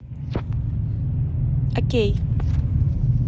окей